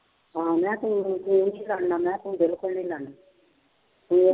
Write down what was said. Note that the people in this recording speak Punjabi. ਹਾਂ ਮੈਂ ਕਿਹਾ ਤੂੰ ਤੂੰ ਨੀ ਲੜਨਾ ਮੈਂ ਕਿਹਾ ਤੂੰ ਬਿਲਕੁਲ ਨੀ ਲੜਨਾ ਤੇ